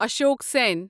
اشوق سٮ۪ن